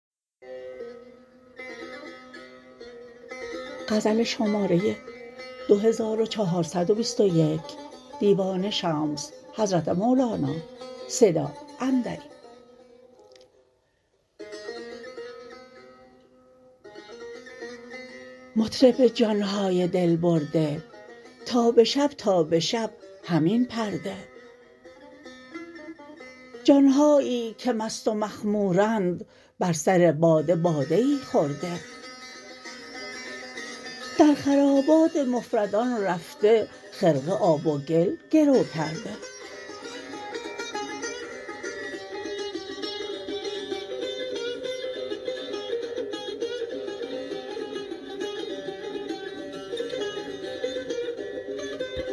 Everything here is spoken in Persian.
مطرب جان های دل برده تا به شب تا به شب همین پرده جان هایی که مست و مخمورند بر سر باده باده ای خورده در خرابات مفردان رفته خرقه آب و گل گرو کرده